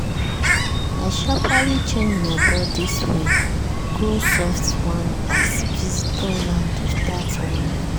i sharperly change my body spray go soft one as visitors land without warning.